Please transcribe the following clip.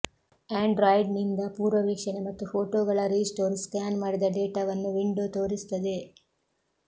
ಆಂಡ್ರಾಯ್ಡ್ನಿಂದ ಪೂರ್ವವೀಕ್ಷಣೆ ಮತ್ತು ಫೋಟೋಗಳ ರೀಸ್ಟೋರ್ ಸ್ಕ್ಯಾನ್ ಮಾಡಿದ ಡೇಟಾವನ್ನು ವಿಂಡೊ ತೋರಿಸುತ್ತದೆ